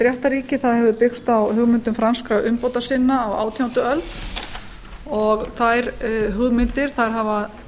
réttarríki hefur byggst á hugmyndum franskra umbótasinna á átjándu öld og þær hugmyndir hafa